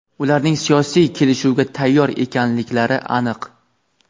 Ularning siyosiy kelishuvga tayyor ekanliklari aniq.